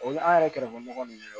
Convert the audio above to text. O ye an yɛrɛ kɛrɛfɛmɔgɔ ninnu ye